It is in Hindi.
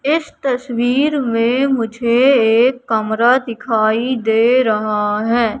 इस तस्वीर में मुझे एक कमरा दिखाई दे रहा है।